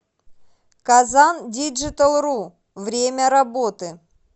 казандиджиталру время работы